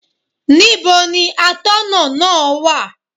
Níbo ni Atọ́nà náà wà?